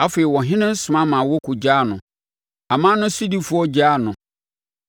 Afei, ɔhene no soma ma wɔkɔgyaa no; aman no sodifoɔ gyaa no.